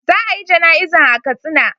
Za a yi jana'izan a katsina.